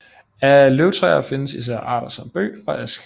Af løvtræer findes især arter som bøg og ask